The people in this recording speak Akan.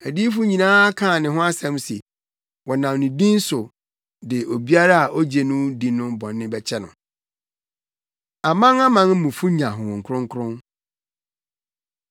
Adiyifo nyinaa kaa ne ho asɛm se, wɔnam ne din so de obiara a ogye no di no bɔne bɛkyɛ no.” Amanamanmufo Nya Honhom Kronkron